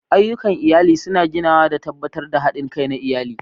Ayyukan iyali suna ginawa da tabbatar da haɗin kai na iyali.